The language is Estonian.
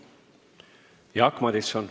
Jaak Madison.